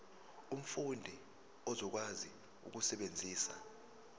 umfundi uzokwazi ukusebenzisa